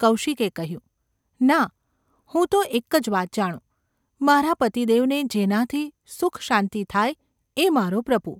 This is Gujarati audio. ’ કૌશિકે કહ્યું. ‘ના, હું તો એક જ વાત જાણું : મારા પતિદેવને જેનાથી સુખશાંતિ થાય એ મારો પ્રભુ.